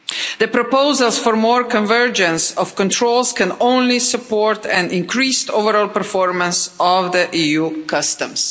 The proposals for more convergence of controls can only support an increased overall performance of EU customs.